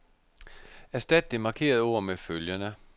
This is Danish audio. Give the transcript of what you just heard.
Erstat det markerede ord med følgende.